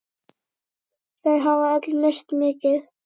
Þau hafa öll misst mikið.